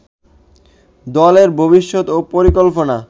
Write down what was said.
দলের ভবিষ্যৎ পরিকল্পনা